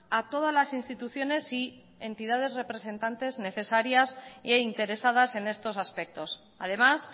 a todas las instituciones y entidades representantes necesarias e interesadas en estos aspectos además